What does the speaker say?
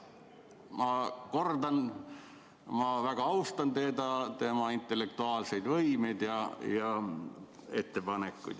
Ma kordan, et ma väga austan teda, tema intellektuaalseid võimeid ja ettepanekuid.